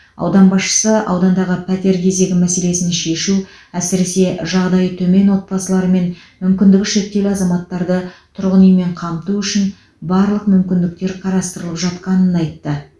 аудан басшысы аудандағы пәтер кезегі мәселесін шешу әсіресе жағдайы төмен отбасылары мен мүмкіндігі шектеулі азаматтарды тұрғын үймен қамту үшін барлық мүмкіндіктер қарастырылып жатқанын айтты